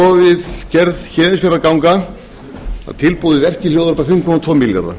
verkið hljóða upp á fimm komma tvo milljarða